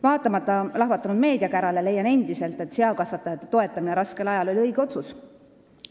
Vaatamata lahvatanud meediakärale, leian endiselt, et seakasvatajate toetamine raskel ajal oli õige otsus.